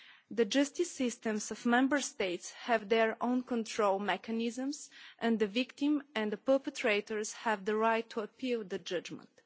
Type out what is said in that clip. The justice systems of Member States have their own control mechanisms and the victim and the perpetrators have the right to appeal the judgment.